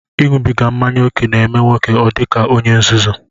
Iṅụbiga mmanya ókè na-eme nwoke ọ dị ka onye nzuzu